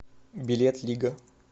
билет лига